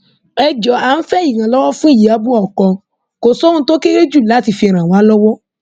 ẹ jọọ à ń fẹ ìrànlọwọ fún ìyàbọ ọkọ kò sóhun tó kéré jù láti fi ràn wá lọwọ